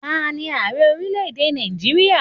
Taani Ààrẹ orílẹ̀ èdè Nàìjíríà?